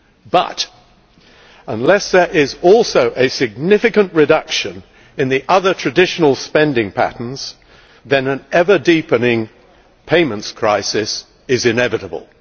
But unless there is also a significant reduction in the other traditional spending patterns, then an ever deepening payments crisis is inevitable.